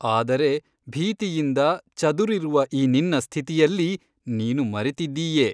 ಆದರೆ ಭೀತಿಯಿಂದ ಚದುರಿರುವ ಈ ನಿನ್ನ ಸ್ಥಿತಿಯಲ್ಲಿ ನೀನು ಮರೆತಿದ್ದೀಯೆ.